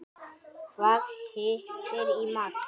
Hvað hittir í mark?